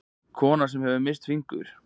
Kona sem hefur misst fingur.